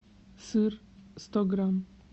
сыр сто грамм